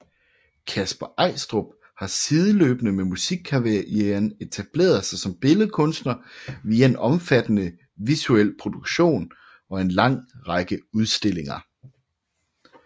Kasper Eistrup har sideløbende med musikkarrieren etableret sig som billedkunstner via en omfattende visuel produktion og en lang række udstillinger